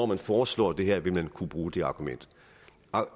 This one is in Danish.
man foreslår det her vil man kunne bruge det argument